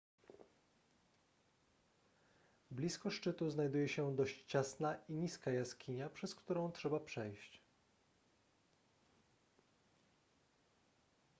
blisko szczytu znajduje się dość ciasna i niska jaskinia przez którą trzeba przejść